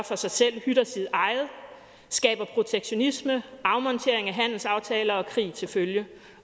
for sig selv hytter sit eget skaber protektionisme med afmontering af handelsaftaler og krig til følge